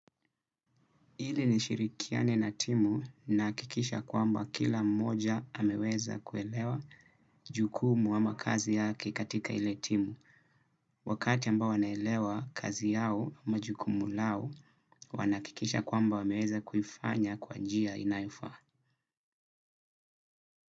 Ili nishirikiane na timu nahakikisha kwamba kila mmoja ameweza kuelewa jukumu ama kazi yake katika ile timu. Wakati ambao wanaelewa kazi yao ama jukumu lao wanahakikisha kwamba wameweza kuifanya kwa njia inayofaa.